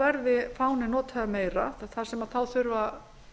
verði fáninn notaður meira þar sem þá þurfa